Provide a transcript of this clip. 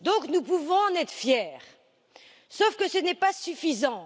Nous pouvons donc en être fiers, sauf que ce n'est pas suffisant.